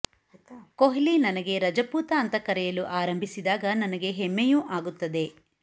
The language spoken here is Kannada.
ಕೊಹ್ಲಿ ನನಗೆ ರಜಪೂತ ಅಂತ ಕರೆಯಲು ಆರಂಭಿಸಿದಾಗ ನನಗೆ ಹೆಮ್ಮೆಯೂ ಆಗುತ್ತದೆ